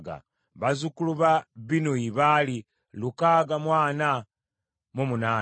bazzukulu ba Binnuyi baali lukaaga mu ana mu munaana (648),